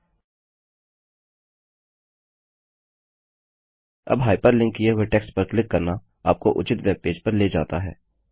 अब हाइपरलिंक किए हुए टेक्स्ट पर क्लिक करना आपको उचित वेब पेज पर ले जाता है